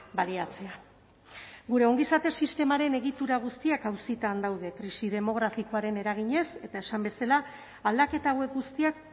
baliatzea gure ongizate sistemaren egitura guztiak auzitan daude krisi demografikoaren eraginez eta esan bezala aldaketa hauek guztiak